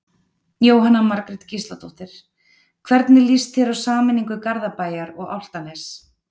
Jóhanna Margrét Gísladóttir: Hvernig lýst þér á sameiningu Garðabæjar og Álftanes?